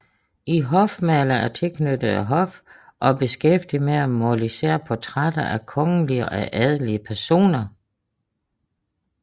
En hofmaler er tilknyttet et hof og beskæftiget med at male især portrætter af kongelige og adelige personer